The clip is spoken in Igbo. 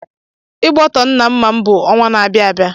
Igbọtọmma nna m bụ ọnwa n'abia abia